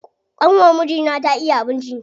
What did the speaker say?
ƙanwar mijina ta iya abinci.